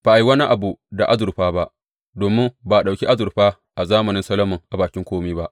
Ba a yi wani abu da azurfa ba, domin ba a ɗauki azurfa a zamanin Solomon a bakin kome ba.